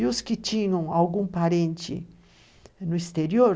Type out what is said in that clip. E os que tinham algum parente no exterior,